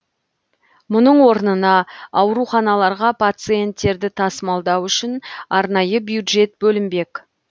мұның орнына ауруханаларға пациенттерді тасымалдау үшін арнайы бюджет бөлінбек